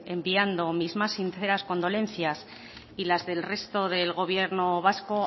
enviando mis más sinceras condolencias y las del resto del gobierno vasco